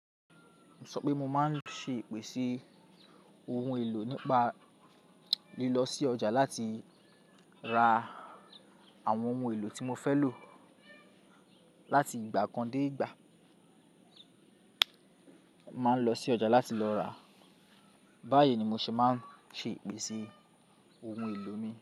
Mo sọ pé mo máa ń ṣe ìpèsè ohun èlò nípa lílọ sí ọjà láti ra àwọn ohun èlò tí mo fẹ́ lò láti ìgbà kan dé ìgbà. Máa ń lọ sí ọjà láti lọ ràá. Báyìí ni mo ṣe máa ń ṣe ìpèsè ohun èlò mi.